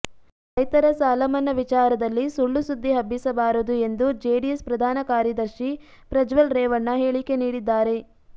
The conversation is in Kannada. ರೈತರ ಸಾಲಮನ್ನಾ ವಿಚಾರದಲ್ಲಿ ಸುಳ್ಳು ಸುದ್ದಿ ಹಬ್ಬಿಸಬಾರದು ಎಂದು ಜೆಡಿಎಸ್ ಪ್ರಧಾನಕಾರ್ಯದರ್ಶಿ ಪ್ರಜ್ವಲ್ ರೇವಣ್ಣ ಹೇಳಿಕೆ ನೀಡಿದ್ದಾರೆ